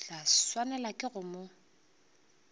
tla swanelwa ke go mo